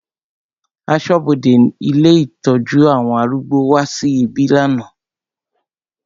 Aṣọ́bodè ilé ìtọ́jú àwọn arúgbó wá sí ibí lánàá.